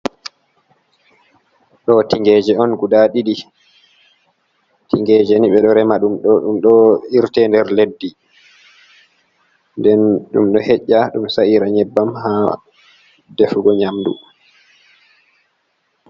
Ɗo tingeje on guɗa Ɗiɗi. Tingeje ni be ɗo rema ɗum. ɗum ɗo irte nɗer leɗɗi. Nɗen dum do heƴa ɗum saira nyebbam ha ɗefugo nyamɗu.